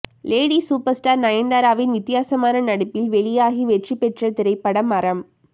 lady super star நயன்தாராவின் வித்தியாசமான நடிப்பில் வெளியாகி வெற்றிப்பெற்ற திரைப்படம் அறம்